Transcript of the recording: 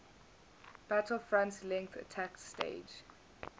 battlefront length attack staged